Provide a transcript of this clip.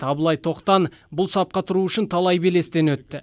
абылай тоқтан бұл сапқа тұру үшін талай белестен өтті